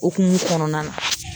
Okumu kɔnɔna na